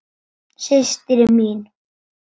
Systir mín.